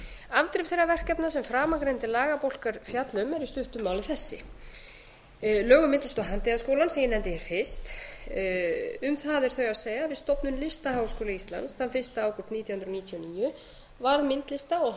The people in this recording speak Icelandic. afdrif þeirra verkefna sem framangreindir lagabálkar fjalla eru í stuttu máli þessi lög um myndlista og handíðaskólann sem ég nefndi fyrst um það að það segja að við stofnun listaháskóla íslands fyrsta ágúst nítján hundruð níutíu og níu varð myndlista og handíðaskólinn